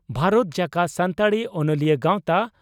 ᱵᱷᱟᱨᱚᱛ ᱡᱟᱠᱟᱛ ᱥᱟᱱᱛᱟᱲᱤ ᱚᱱᱚᱞᱤᱭᱟᱹ ᱜᱟᱣᱛᱟ